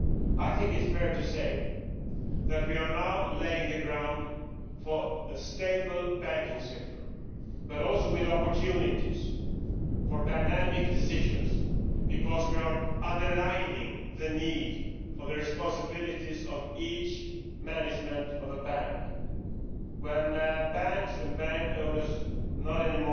I think it is fair to say that we are now laying the ground for a stable banking sector, but also with opportunities for dynamic decisions, because we are underlining the need for responsibilities in the management of each bank. When banks and bank owners can no longer